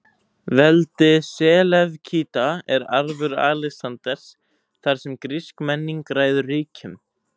Veldi Selevkída er arfur Alexanders, þar sem grísk menning ræður ríkjum.